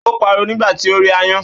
Ó pariwo nígbà tí ó rí aáyán